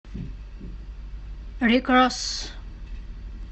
рик росс